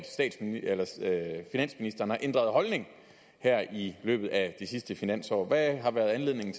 finansministeren har ændret holdning her i løbet af det sidste finansår hvad har været anledning